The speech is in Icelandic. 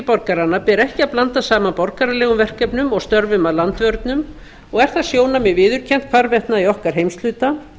borgaranna ber ekki að blanda saman borgaralegum verkefnum og störfum að landvörnum og er það sjónarmið viðurkennt hvarvetna í okkar heimshluta